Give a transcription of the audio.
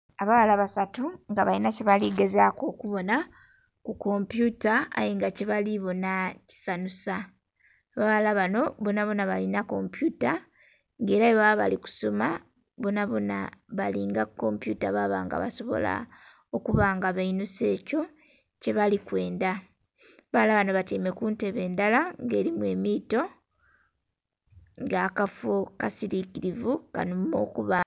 Abawala basatu nga balina kyebaligezaku okubona kukompyuta ayenga kyebalibona kisanusa, abawala bano bonabona balina kompyuta nga era bwebaba balikusoma bonabona balinga kukompyuta babanga basobola okubanga bainhusa ekyo kyebalikwendha. Abawala bano batyaime kuntebe ndhala nga erimu emiito nga akaffo kasirikirivu kanhumirwa okubamu.